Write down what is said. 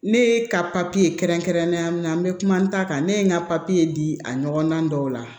Ne ye ka papiye kɛrɛnkɛrɛnnenya min na n bɛ kuma n ta kan ne ye n ka papiye di a ɲɔgɔnna dɔw la